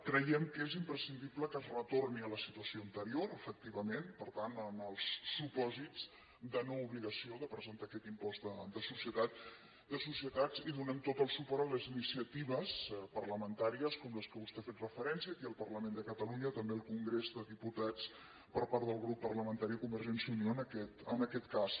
creiem que és imprescindible que es retorni a la situació anterior efectivament per tant als supòsits de noobligació de presentar aquest impost de societats i donem tot el suport a les iniciatives parlamentàries com aquelles a què vostè ha fet referència aquí al parlament de catalunya també al congrés de diputats per part del grup parlamentari de convergència i unió en aquest cas